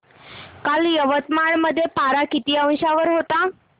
काल यवतमाळ मध्ये पारा किती अंशावर होता